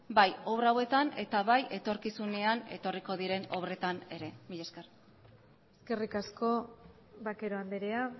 bai obra hauetan eta bai etorkizunean etorriko diren obretan ere mila esker eskerrik asko vaquero andrea